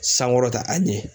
sankɔrɔta a ɲɛ.